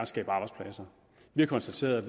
skabe arbejdspladser vi har konstateret at